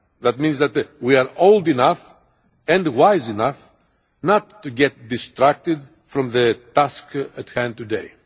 That means that we are old enough and wise enough not to get distracted from the task at hand today.